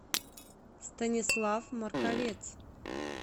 станислав марковец